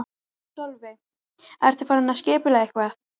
Sólveig: Ertu farin að skipuleggja eitthvað?